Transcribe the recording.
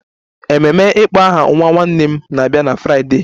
Ememe ịkpọ aha nwa nwanne m na-abịa na Fraịdee